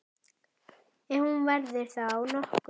Ef hún verður þá nokkur.